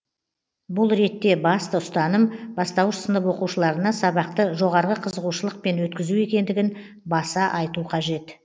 бұл ретте басты ұстаным бастауыш сынып оқушыларына сабақты жоғарғы қызығушылықпен өткізу екендігін баса айту қажет